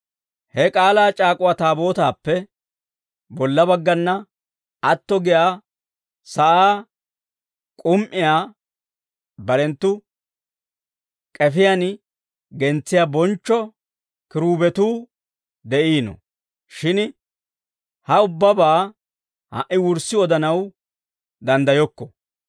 He k'aalaa c'aak'uwaa Taabootaappe bolla baggana atto giyaa sa'aa k'um"iyaa barenttu k'efiyaan gentsiyaa bonchcho kiruubetuu de'iino; shin ha ubbabaa ha"i wurssi odanaw danddayokko.